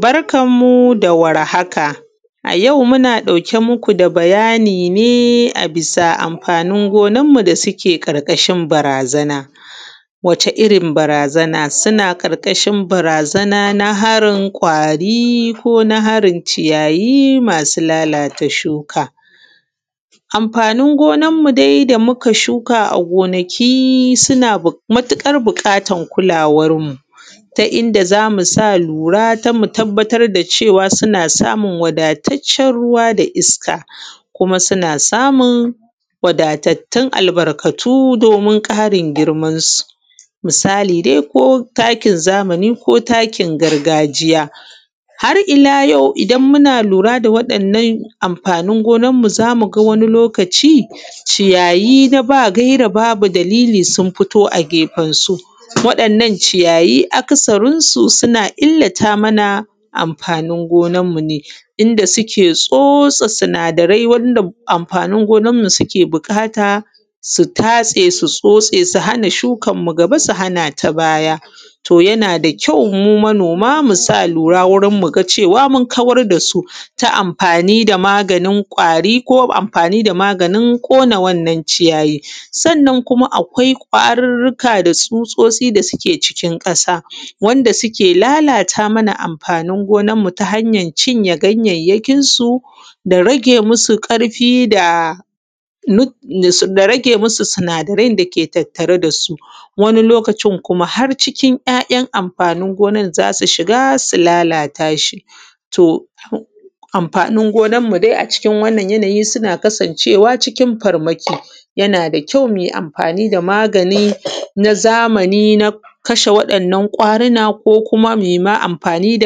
Barkan mu da warhaka. A yau numa ɗauke muku da bayani ne bisa amfani gonar mu da suke ƙarƙashin barazana. Wani irrin barazana? Barazana ma harin kwari kona harin ciyayi masu lalata shuka. Amfanin gonar mu dai da muka shuka a gonaki sunada matuƙara buƙatan kalawan mu ta inda zamu sa lura dan mutabbatar da cewa suna sumun wadataccen ruwa da iska. Kuma suna samun wadatattun albarkatu domin ƙarin girman su, misali dai ko takin zamani ko takin gargajiya, har’ila yau idan muna lura da wa’yan’nan amfanin gona zamuga ciyayi na babu gaira babu dalili suna fitowa a gefen su, wa ‘yan’ nan ciyayi aka sarin su suna illata mana amfanin gonan mu ne inda suke tsotse sinada rai wanda amfanin gonanmu suke buƙata su tatse su tsotse su hana shukan mu gaba su hanata baya. To yana da kyau mu manoma musa lura wurin muga cewa mun kawar dasu ta mafani da maganin kwari ko amfani da maganin ƙona wannan ciyayi. sannan akwai kwarurruka da tsutsotsi da suke cikin wannan ƙasa wanda suke lalata mana mafani gonan mu ta hanyan cinye ganyayyakin su da rage musu ƙafi da rage musu sinadaran dake tattare dasu wani lokacin kuma har ‘ya’’yan’ amfanin gonan zasu shiga su lalata shi to amfanin gonan mu dai a cikin wannan yanayi suna kasan cewa cikin farmaki yana da kyau muyi amfani da wannan magani na kasha kwarina ko kuma muima amfani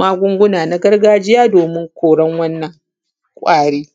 magunguna na gargajiya don kasha wa ‘yan’ na kwaruna.